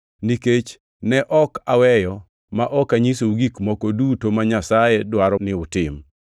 nikech ne ok aweyo ma ok anyisou gik moko duto ma Nyasaye dwaro ni utim.